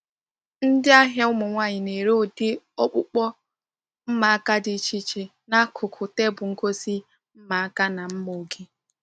Ndị ahịa ụmụ nwanyị na-ere ụdị ọkpụkpụ mma aka dị iche iche n’akụkụ tebụl ngosi mma aka na mma ọka.